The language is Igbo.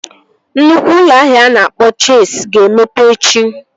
Nnukwu ụlọ ahịa a na-akpọ Chesi ga-emepe echi